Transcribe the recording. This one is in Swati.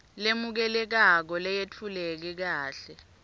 lemukelekako leyetfuleke kahle